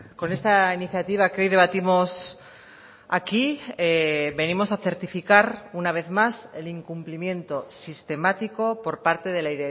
con esta iniciativa que hoy debatimos aquí venimos a certificar una vez más el incumplimiento sistemático por parte de la